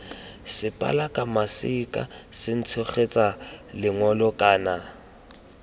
sepalaka maseka setshegetsa lengole kana